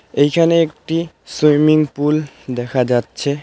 এইখানে একটি swimming pool দেখা যাচ্ছে.